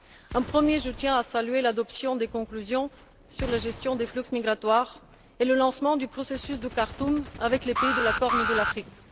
Tout d'abord, je tiens à saluer l'adoption des conclusions sur la gestion des flux migratoires et le lancement du processus de Khartoum avec les pays de la Corne de l'Afrique.